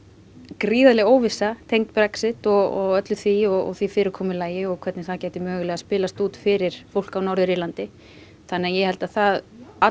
gríðarleg óvissa tengd Brexit og öllu því og því fyrirkomulagi og hvernig það gæti mögulega spilast út fyrir fólk á Norður Írlandi þannig að ég held að það